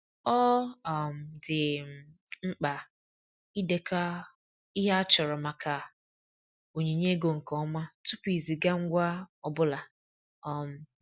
Ọ um dị um mkpa idekọ ihe a chọrọ maka onyinye ego nke ọma tupu iziga ngwa ọ bụla. um